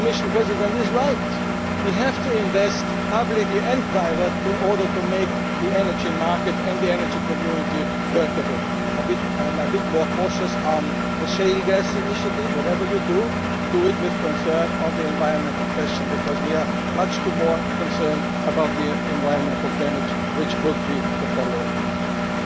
community for years already. The Commission President is right we have to invest publicly and privately in order to make the energy market and the energy community workable. I am a bit more cautious about the shale gas initiative. Whatever you do, consider the environmental question, because we are much more concerned about the environmental